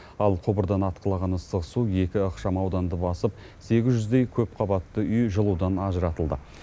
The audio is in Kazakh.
ал құбырдан атқылаған ыстық су екі ықшамауданды басып сегіз жүздей көпқабатты үй жылудан ажыратылды